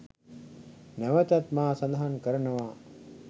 නැවතත් මා සඳහන් කරනවා.